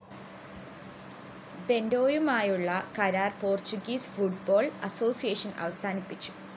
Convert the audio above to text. ബെന്റോയുമായുള്ള കരാര്‍ Portuguese football association അവസാനിപ്പിച്ചു